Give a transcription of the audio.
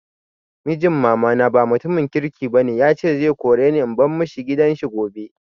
Mijin mama na ba mutumin kirki ba ne, ya ce zai kore ni in bar ma shi gidan shi gobe.